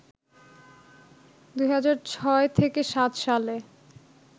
২০০৬-০৭ সালে